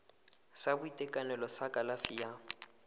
sa boitekanelo sa kalafi ya